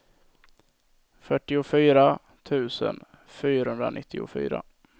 fyrtiofyra tusen fyrahundranittiofyra